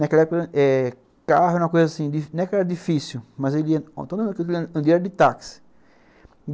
Naquela época eh, carro era uma coisa assim, não é que era difícil, mas ele ia de táxi.